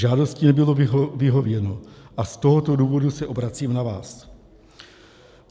Žádosti nebylo vyhověno a z tohoto důvodu se obracím na vás.